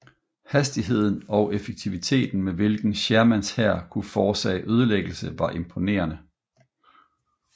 Hastigheden og effektiviteten med hvilken Shermans hær kunne forårsage ødelæggelse var imponerende